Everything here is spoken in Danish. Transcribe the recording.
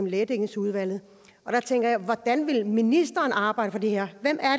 i lægedækningsudvalget og der tænker jeg hvordan vil ministeren arbejde for det her hvem